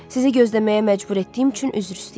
Sizi gözləməyə məcbur etdiyim üçün üzr istəyirəm.